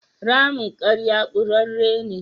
Ramin ƙarya ƙurarre ne.